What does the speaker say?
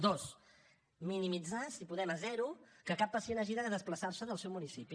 dos minimitzar si podem a zero que cap pacient hagi de desplaçarse del seu municipi